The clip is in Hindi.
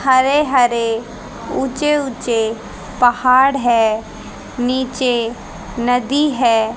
हरे हरे ऊंचे ऊंचे पहाड़ है नीचे नदी है।